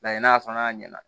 Layɛ n'a sɔnn'a ɲɛna